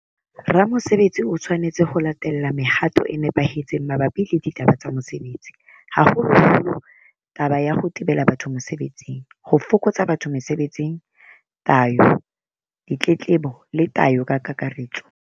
Ramosebetsi o tshwanetse ho latela mehato e nepahetseng mabapi le ditaba tsa mosebetsi, haholoholo taba ya ho tebela batho mosebetsing, ho fokotsa batho mosebetsing, tayo, ditletlebo, le tayo ka kakaretso.